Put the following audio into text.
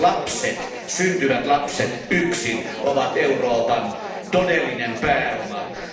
Lapset, syntyvät lapset ovat Euroopan todellinen pääoma.